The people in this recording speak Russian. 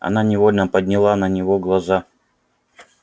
она невольно подняла на него глаза